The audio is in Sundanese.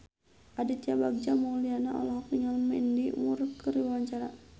Aditya Bagja Mulyana olohok ningali Mandy Moore keur diwawancara